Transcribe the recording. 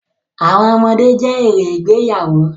Àwọn ọmọdé jẹ́ èrè ìgbéyàwó.